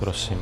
Prosím.